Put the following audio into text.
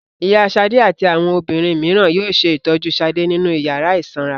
Ìyá Ṣadé àti àwọn obìnrin mìíràn yóò ṣe ìtọ́jú Ṣadé nínú ìyàrá ìsanra.